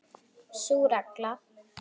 Sú regla.